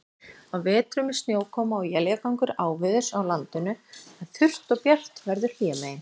Á vetrum er snjókoma og éljagangur áveðurs á landinu, en þurrt og bjart veður hlémegin.